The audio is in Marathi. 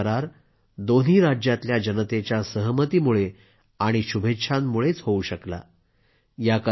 हा सामंजस्य करार दोन्ही राज्यातल्या जनतेच्या सहमतीमुळे आणि शुभेच्छांमुळेच होवू शकला